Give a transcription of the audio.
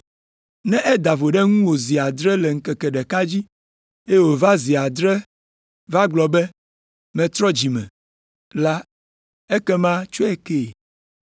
Ne eda vo ɖe ŋuwò zi adre le ŋkeke ɖeka dzi, eye wòva zi adre va gblɔ be, ‘Metrɔ dzi me,’ la, ekema tsɔe kee.”